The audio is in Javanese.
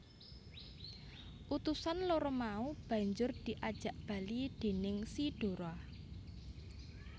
Utusan loro mau banjur diajak bali déning si Dora